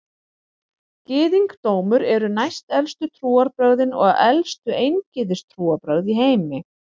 Gyðingdómur eru næstelstu trúarbrögðin og elstu eingyðistrúarbrögð í heimi.